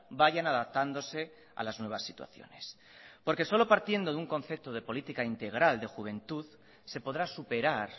vayan adaptándose a las nuevas situaciones porque solo partiendo de un concepto de política integral de juventud se podrá superar